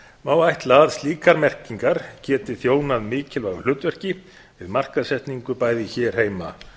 má ætla að slíkar merkingar geti þjónað mikilvægu hlutverki við markaðssetningu bæði hér heima